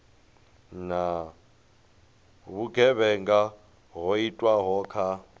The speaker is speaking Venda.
na vhugevhenga ho itwaho kha